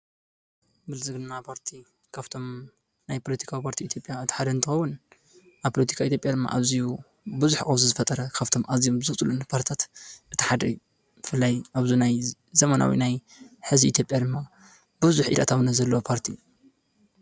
ብልፅግና ፖርቲ ሓደ ካብቶም ኣብ ኢትዮጵያ ዘለው ፖርቲታት ሓደ እዩ። ሕዚ ኸዓ ገዛኢ ፖርቲ እዩ።